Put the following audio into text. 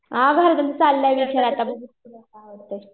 हां अजून चाललंय विषय आता बघू पुढं काय होतंय.